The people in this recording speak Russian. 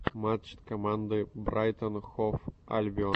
матч команды брайтон хов альбион